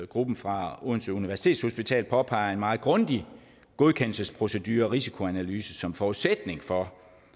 gruppen fra odense universitetshospital påpeger også en meget grundig godkendelsesprocedure og risikoanalyse som forudsætning for